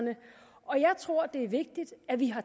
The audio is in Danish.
og jeg tror det er vigtigt at vi har